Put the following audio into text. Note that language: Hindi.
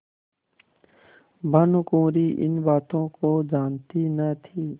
भानुकुँवरि इन बातों को जानती न थी